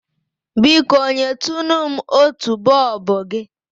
Biko, nyetunu m otu bọọbụ gị?